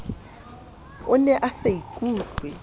o ne a sa ikutlwe